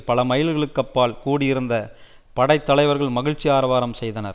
பல மைல்களுக்கு அப்பால் கூடியிருந்த படைத்தலைவர்கள் மகிழ்ச்சி ஆரவாரம் செய்தனர்